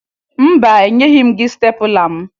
Mba, enyeghi m gị stepụla m